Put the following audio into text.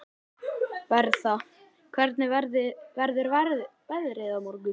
Bertha, hvernig verður veðrið á morgun?